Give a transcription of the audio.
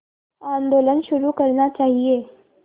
आंदोलन शुरू करना चाहिए